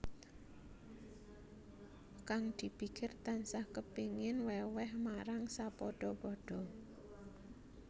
Kang dipikir tansah kepingin wèwèh marang sapadha padha